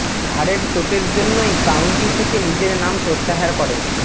ঘাড়ের চোটের জন্যই কাউন্টি থেকে নিজের নাম প্রত্যাহার করে